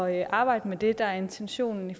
at arbejde med det der er intentionen i